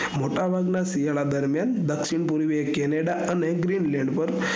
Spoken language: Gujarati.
મોટા ભાગ ના શિયાળા દરમિયાન દ્ક્ષિણ પૂર્વીય canada અને greenland પર